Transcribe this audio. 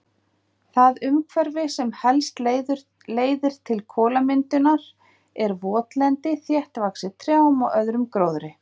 Það umhverfi sem helst leiðir til kolamyndunar er votlendi þéttvaxið trjám og öðrum gróðri.